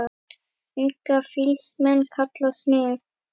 Unga fýls menn kalla smið.